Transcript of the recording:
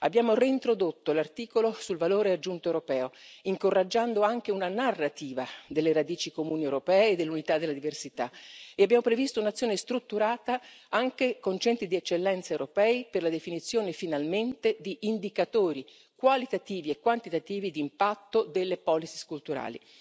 Abbiamo reintrodotto l'articolo sul valore aggiunto europeo, incoraggiando anche una narrativa delle radici comuni europee, dell'unità e della diversità e abbiamo previsto un'azione strutturata, anche con centri di eccellenza europei, per la definizione, finalmente, di indicatori qualitativi e quantitativi di impatto delle politiche culturali.